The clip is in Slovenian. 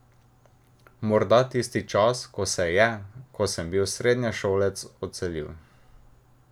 Morda tisti čas, ko se je, ko sem bil srednješolec, odselil.